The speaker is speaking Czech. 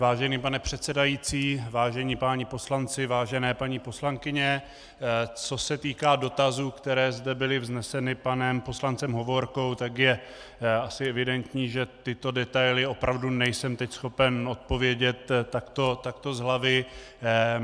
Vážený pane předsedající, vážení páni poslanci, vážené paní poslankyně, co se týká dotazů, které zde byly vzneseny panem poslancem Hovorkou, tak je asi evidentní, že tyto detaily opravdu nejsem teď schopen odpovědět takto z hlavy.